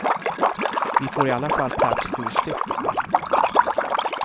Vi får i alla fall plats sju stycken.